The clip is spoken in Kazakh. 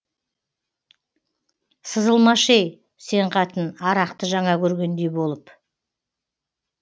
сызылмашы ей сен қатын арақты жаңа көргендей болып